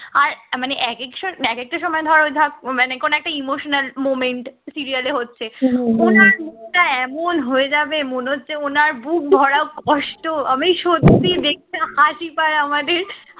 আর মানে একেক স এক একটা সময় ধর ওই ধর মানে কোন একটা emotional moment serial এ হচ্ছে উনার মুখটা এমন হয়ে যাবে মনে হচ্ছে ওনার বুকভরা কষ্ট আমি সত্যি দেখলে হাসি পায় আমাদের